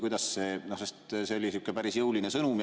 See oli päris jõuline sõnum.